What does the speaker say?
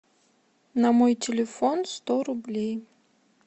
на мой телефон сто рублей